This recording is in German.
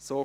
Art.